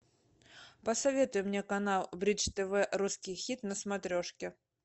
посоветуй мне канал бридж тв русский хит на смотрешке